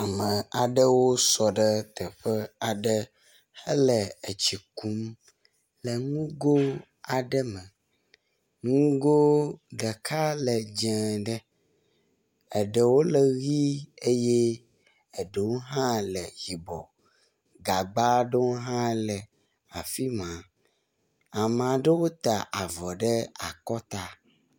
Ame aɖewo ta avɔ ɖe akɔta, amea ɖewo sɔ ɖe teƒe aɖe hele etsi kum le nugo aɖe me. Nugo ɖeka le dze ɖe, eɖewo le ʋɛ̃ eye eɖewo hã le yibɔ. Gagba aɖewo hã le afi ma, amea ɖewo ta avɔ ɖe akɔta.